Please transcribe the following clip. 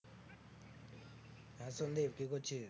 হ্যাঁ, সন্দীপ কি করছিস?